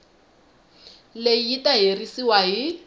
leyi yi ta herisiwa hi